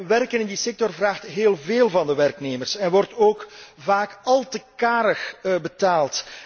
Werken in die sector vraagt heel veel van de werknemers en wordt vaak al te karig betaald.